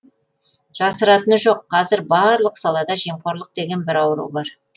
жасыратыны жоқ қазір барлық салада жемқорлық деген бір ауру бар